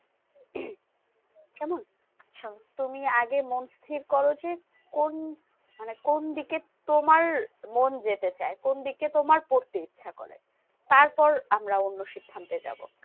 তুমি আগে মন স্থির করো যে, কোন মানে কোন দিকে তোমার মন যেতে চেয়ে? কোন দিকে তোমার পড়তে ইচ্ছা করে? তারপর আমরা অন্য সিদ্ধান্তে যাবো।